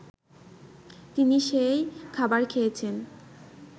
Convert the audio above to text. তিনি সেই খাবার খেয়েছেন